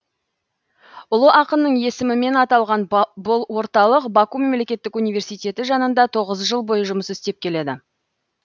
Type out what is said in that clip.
ұлы ақынның есімімен аталған бұл орталық баку мемлекеттік университеті жанында тоғыз жыл бойы жұмыс істеп келеді